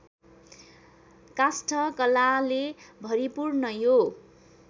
काष्ठकलाले भरिपूर्ण यो